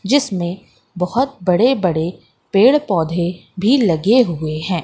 जिसमें बहोत बड़े बड़े पेड़ पौधे भी लगे हुए हैं।